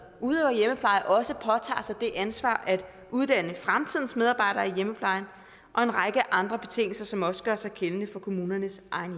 udøver hjemmepleje også påtager sig det ansvar at uddanne fremtidens medarbejdere i hjemmeplejen og en række andre betingelser som også gør sig gældende for kommunernes egen